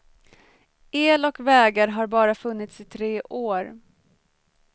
El och vägar har bara funnits i tre år.